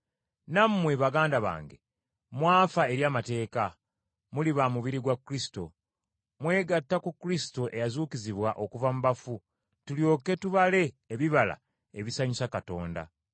Nammwe baganda bange mwafa eri amateeka, muli ba mubiri gwa Kristo. Mwegatta ku Kristo eyazuukizibwa okuva mu bafu, tulyoke tubale ebibala ebisanyusa Katonda.